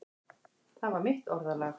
Það var mitt orðalag.